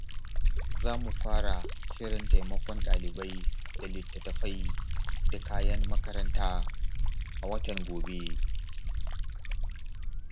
Za mu fara shirin taimakon dalibai da littattafai da kayan makaranta a watan gobe.